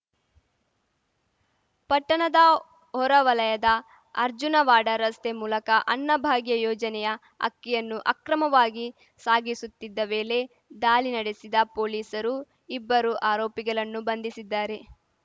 ಪಟ್ಟಣದ ಹೊರವಲಯದ ಅರ್ಜುನವಾಡ ರಸ್ತೆ ಮೂಲಕ ಅನ್ನ ಭಾಗ್ಯ ಯೋಜನೆಯ ಅಕ್ಕಿಯನ್ನು ಅಕ್ರಮವಾಗಿ ಸಾಗಿಸುತ್ತಿದ್ದ ವೇಲೆ ದಾಲಿ ನಡೆಸಿದ ಪೊಲೀಸರು ಇಬ್ಬರು ಆರೋಪಿಗಳನ್ನು ಬಂಧಿಸಿದ್ದಾರೆ